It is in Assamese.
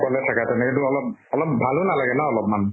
অকলে থাকা তেনেকেটো অলপ ভালো নালাগে ন অলপ্মান?